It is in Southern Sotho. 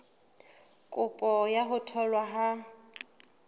kopo ya ho tholwa ha